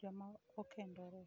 joma okendore?